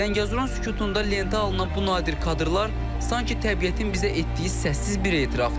Zəngəzurun sükutunda lentə alınan bu nadir kadrlar sanki təbiətin bizə etdiyi səssiz bir etirafdır.